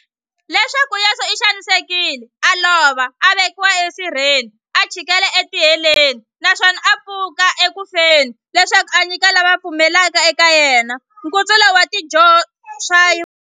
Leswaku Yesu u xanisekile, a lova, a vekiwa e sirheni, a chikela e tiheleni, naswona a pfuka eku feni, leswaku a nyika lava va pfumelaka eka yena, nkutsulo wa swidyoho swa vona.